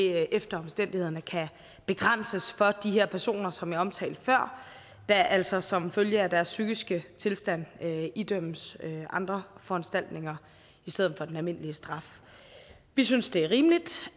efter omstændighederne kan begrænses for de her personer som jeg omtalte før altså som følge af deres psykiske tilstand idømmes andre foranstaltninger i stedet for den almindelige straf vi synes det er rimeligt